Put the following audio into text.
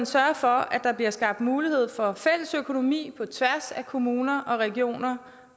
sørge for at der bliver skabt mulighed for fælles økonomi på tværs af kommuner og regioner